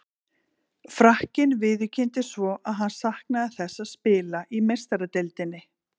Frakkinn viðurkenndi svo að hann saknaði þess að spila í Meistaradeildinni.